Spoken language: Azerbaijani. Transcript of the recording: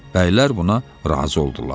Bəylər buna razı oldular.